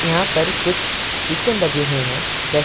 यहां पर कुछ स्टीकर लगे हुएं हैं जैसे--